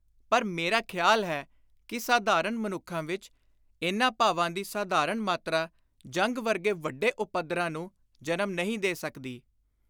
ਪਰ ਮੇਰਾ ਖ਼ਿਆਲ ਹੈ ਕਿ ਸਾਧਾਰਣ ਮਨੁੱਖਾਂ ਵਿਚ ਇਨ੍ਹਾਂ ਭਾਵਾਂ ਦੀ ਸਾਧਾਰਣ ਮਾਤਰਾ ਜੰਗ ਵਰਗੇ ਵੱਡੇ ਉਪੱਦਰਾਂ ਨੂੰ ਜਨਮ ਨਹੀਂ ਦੇ ਸਕਦੀ।